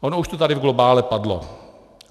Ono už to tady v globále padlo.